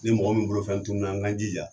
Ni mɔgɔ min bolofɛn tununa n k'an jija